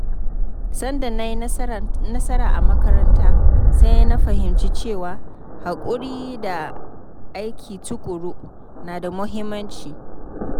Sanda na yi nasara a makaranta, sai na fahimci cewa haƙuri da aiki tuƙuru na da muhimmanci.